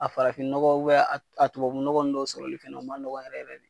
A farafinnɔgɔ a tubabunɔgɔ ninnu dɔw sɔrɔli fɛ o ma nɔgɔ yɛrɛ yɛrɛ de.